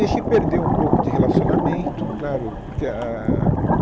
Deixei perder um pouco de relacionamento, claro. Porque a a ah